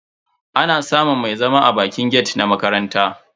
Ana samun mai zama a bakin gate na makaranta.